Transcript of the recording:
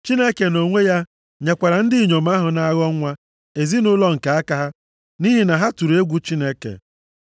Chineke nʼonwe ya, nyekwara ndị inyom ahụ na-aghọ nwa ezinaụlọ nke aka ha nʼihi na ha tụrụ egwu Chineke.